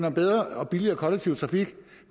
om bedre og billigere kollektiv trafik